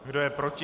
Kdo je proti?